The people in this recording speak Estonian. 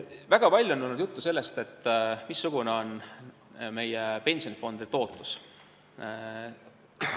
Väga palju on juttu olnud sellest, missugune on meie pensionifondide tootlus.